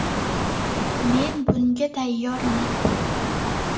Men bunga tayyorman!